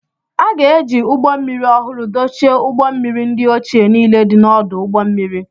A ga-eji ụgbọ mmiri ọhụrụ dochie ụgbọ mmiri ndị ochie niile dị n'ọdụ ụgbọ mmiri.